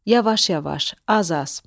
Yavaş-yavaş, az-az.